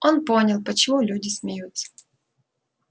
он понял почему люди смеются